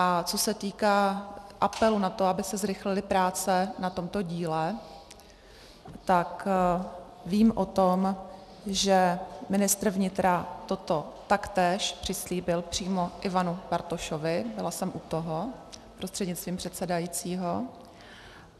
A co se týká apelu na to, aby se zrychlily práce na tomto díle, tak vím o tom, že ministr vnitra toto taktéž přislíbil přímo Ivanu Bartošovi, byla jsem u toho prostřednictvím předsedajícího.